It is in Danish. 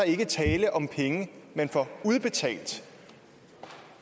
ikke tale om penge man får udbetalt